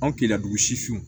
Anw keleya dugu sifinw